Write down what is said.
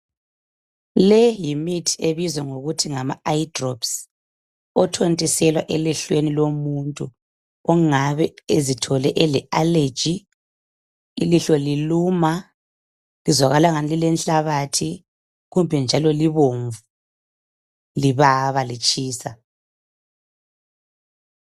le yimithi ebizwa ngokuthi ngama eye drops othontiselwa elihlweni lomuntu ongabe ezithole ele allergy ilihlo liluma lizwakala engani lilenhlabathi kumbe njalo libomvu libaba litshisa